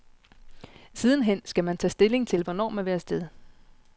Siden hen skal man tage stilling til, hvornår man vil af sted.